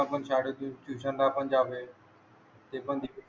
ते पण शाळेतून ट्युशन ला पण जावे ते पण